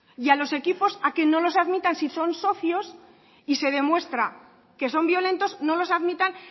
y a los equipos a que no les admitan si son socios y se demuestra que son violentos no los admitan